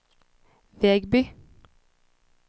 Vegby